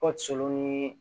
O solo ni